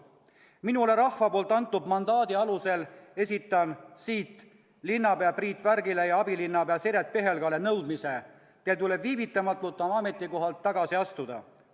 Minule rahva poolt antud mandaadi alusel esitan siit linnapea Priit Värgile ja abilinnapea Siret Pihelgale nõudmise: teil tuleb viivitamatult oma ametikohalt tagasi astuda.